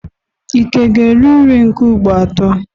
Ike ga-eri nri nke ugboro atọ?